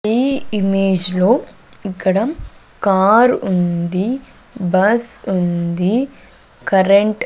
ఈ ఇమేజ్ లో ఇక్కడ కార్ ఉంది బస్ ఉంది కరెంట్ --